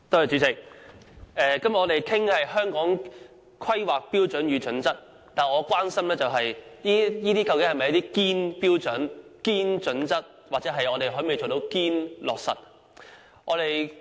主席，我們今天討論的是《香港規劃標準與準則》，但我關心的是這些是否"堅"標準、"堅"準則，我們可否做到"堅"落實。